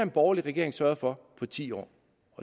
borgerlige regering sørget for på ti år